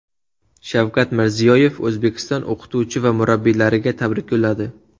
Shavkat Mirziyoyev O‘zbekiston o‘qituvchi va murabbiylariga tabrik yo‘lladi.